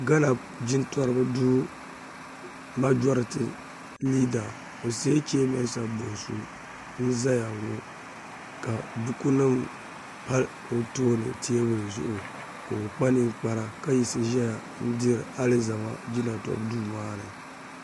Ghana jintoriba duu majoriti liida Osei Kye-Mensah Bonsu n-zaya ŋɔ ka bukunima pa o tooni teebuli zuɣu ka o kpa ninkpara ka yiɣisi zaya n-diri alizama jinatobu duu maa ni